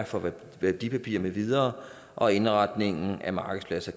for værdipapirer med videre og indretningen af markedspladser